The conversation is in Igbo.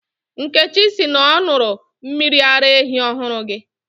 Nkechi sị na ọ ṅụrụ mmiri ara ehi ọhụrụ gị